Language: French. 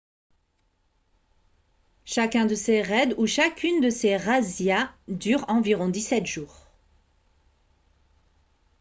chacun de ces raids ou chacune de ces razzias dure environ 17 jours